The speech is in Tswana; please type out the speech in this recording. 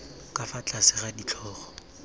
ka fa tlase ga ditlhogo